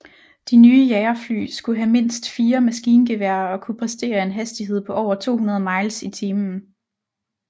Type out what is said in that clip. De nye jagerfly skulle have mindst fire maskingeværer og kunne præstere en hastighed på over 200 miles i timen